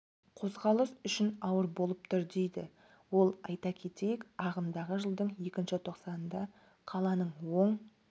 қозғалыс үшін ауыр болып тұр дейді ол айта кетейік ағымдағы жылдың екінші тоқсанында қаланың оң